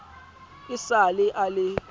e sa le a le